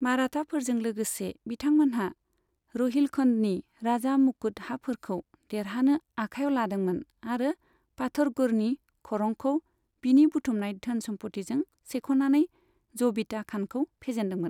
माराठाफोरजों लोगोसे, बिथांमोनहा र'हिलखन्डनि राजा मुकुट हाफोरखौ देरहानो आखाइयाव लादोंमोन आरो पाथरगढ़नि खरंखौ बिनि बुथुमनाय धोन सम्फथिजों सेख'नानै जबीता खानखौ फेजेन्दोंमोन।